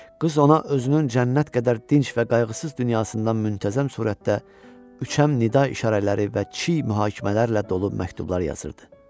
Qız ona özünün cənnət qədər dinc və qayğısız dünyasından müntəzəm surətdə üçəm nida işarələri və çiy mühakimələrlə dolu məktublar yazırdı.